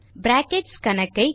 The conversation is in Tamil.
பிராக்கெட்ஸ் கணக்கை